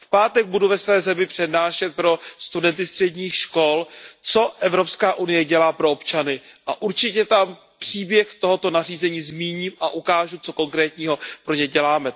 V pátek budu ve své zemi přednášet pro studenty středních škol, co EU dělá pro občany, a určitě tam příběh tohoto nařízení zmíním a ukážu, co konkrétního pro ně děláme.